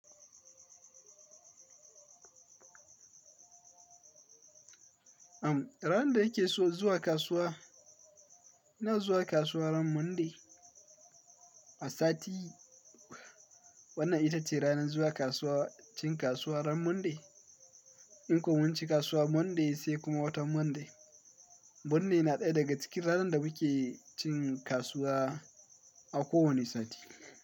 Am, ranar da yake so zuwa kasuwa, ina zuwa kasuwa ran Monday a sati. Wannan ita ce ranar zuwa kasuwa, cin kasuwa ran Monday. In kuma mun cin kasuwa Monday sai kuma wata Monday. Monday na ɗaya daga cikin ranar da muke cin kasuwa a kowani sati.